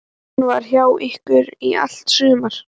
Hún var hjá ykkur í allt sumar.